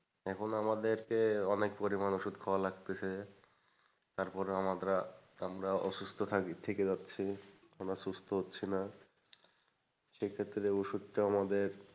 এখন আমাদেরকে অনেক পরিমাণ ওষুধ খাওয়া লাগতেছে, তারপরেও আমরা অসুস্থ থাকি থেকে যাচ্ছি, আমরা সুস্থ হচ্ছি না। সেক্ষেত্রে ওষুধটা আমাদের,